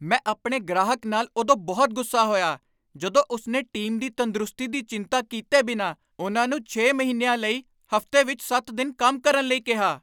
ਮੈਂ ਆਪਣੇ ਗ੍ਰਾਹਕ ਨਾਲ ਉਦੋਂ ਬਹੁਤ ਗੁੱਸਾ ਹੋਇਆ ਜਦੋਂ ਉਸਨੇ ਟੀਮ ਦੀ ਤੰਦਰੁਸਤੀ ਦੀ ਚਿੰਤਾ ਕੀਤੇ ਬਿਨਾਂ ਉਨ੍ਹਾਂ ਨੂੰ ਛੇ ਮਹੀਨਿਆਂ ਲਈ ਹਫ਼ਤੇ ਵਿੱਚ ਸੱਤ ਦਿਨ ਕੰਮ ਕਰਨ ਲਈ ਕਿਹਾ